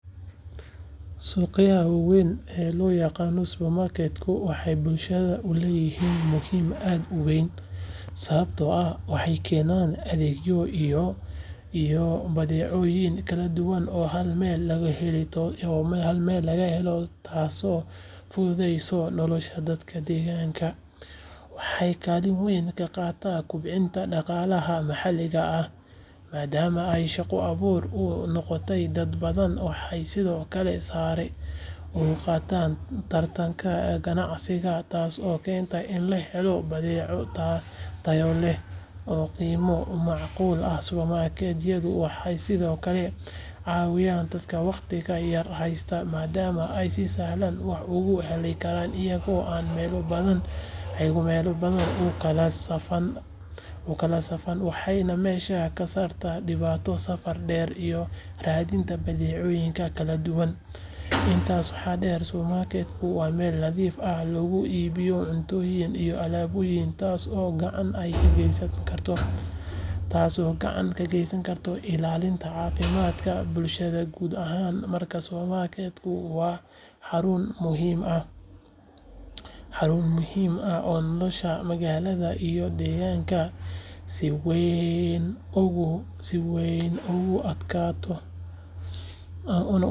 Suqyada waaweyn ee loo yaqaan supermarket-ka waxay bulshada u leeyihiin muhiimad aad u weyn sababtoo ah waxay keenaan adeegyo iyo badeecooyin kala duwan oo hal meel lagu helo taasoo fududaynaysa nolosha dadka deegaanka waxay kaalin weyn ka qaataan kobcinta dhaqaalaha maxalliga ah maadaama ay shaqo abuur u noqdaan dad badan waxay sidoo kale sare u qaadaan tartanka ganacsiga taasoo keenta in la helo badeeco tayo leh oo qiimo macquul ah supermarket-yadu waxay sidoo kale caawiyaan dadka waqtiga yar haysta maadaama ay si sahlan wax uga helayaan iyagoo aan meelo badan u kala safan waxayna meesha ka saaraan dhibaatada safarada dheer iyo raadinta badeecooyinka kala duwan intaas waxaa dheer supermarket-ku waa meel si nadiif ah loogu iibiyo cuntooyin iyo alaabooyin taasoo gacan ka geysanaysa ilaalinta caafimaadka bulshada guud ahaan markaa supermarket-ku waa xarun muhiim ah oo nolosha magaalada iyo deegaanka si weyn ugu adeegta.